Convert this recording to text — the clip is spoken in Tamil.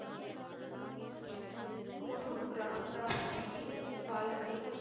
குரு ராம்தாஸ் ஜீயின் வாழ்க்கை